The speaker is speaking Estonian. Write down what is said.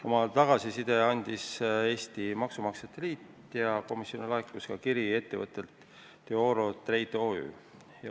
Oma tagasiside andis Eesti Maksumaksjate Liit ja komisjonile laekus kiri ettevõttelt Deoro Trade OÜ.